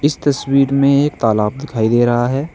इस तस्वीर में एक तालाब दिखाई दे रहा है।